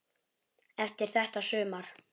Eftir þetta sumar.